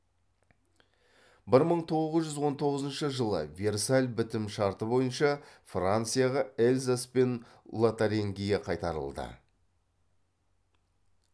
бір мың тоғыз жүз он тоғызыншы жылы версаль бітім шарты бойынша францияға эльзас пен лотарингия қайтарылды